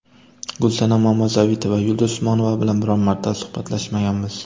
Gulsanam Mamazoitova: Yulduz Usmonova bilan biron marta suhbatlashmaganmiz.